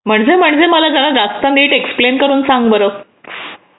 म्हणजे म्हणजे मला जरा जास्त नीट एक्सप्लेन करून सांग बरं